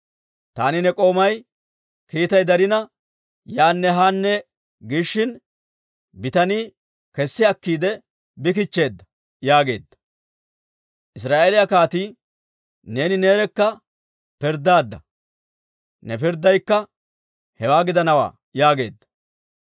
Taani ne k'oomay kiitay darina, yaanne haanne giishin, bitanii kessi akkiide bi kichcheedda» yaageedda. Israa'eeliyaa kaatii, «Neeni neerekka pirddaadda; ne pirddaykka hewaa gidanawaa» yaageedda.